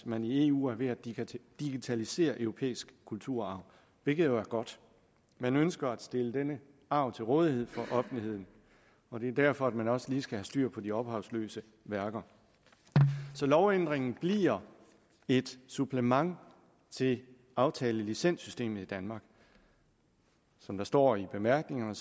man i eu er ved at digitalisere europæisk kulturarv hvilket jo er godt man ønsker at stille denne arv til rådighed for offentligheden og det er derfor man også lige skal have styr på de ophavsløse værker så lovændringen bliver et supplement til aftalelicenssystemet i danmark som det står i bemærkningerne